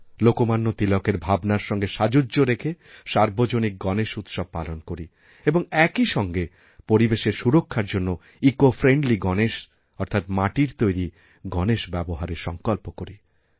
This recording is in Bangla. লোকমান্য তিলকের ভাবনার সঙ্গে সাযুজ্য রেখে সার্বজনিক গণেশউৎসব পালন করি এবং একই সঙ্গে পরিবেশের সুরক্ষার জন্য ইকোফ্রেন্ডলি গণেশ অর্থাৎ মাটির তৈরি গণেশ ব্যবহারের সঙ্কল্প করি